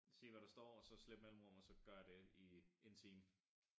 Sige hvad der står og så slip mellemrum og så gøre det i en time